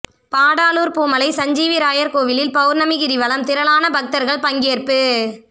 பாடாலூர் பூமலை சஞ்சீவிராயர் கோயிலில் பவுர்ணமி கிரிவலம் திரளான பக்தர்கள் பங்கேற்பு